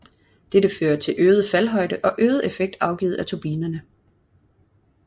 Dette fører til øget faldhøjde og øget effekt afgivet fra turbinerne